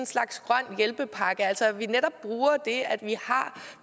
slags grøn hjælpepakke altså at vi netop bruger det at vi har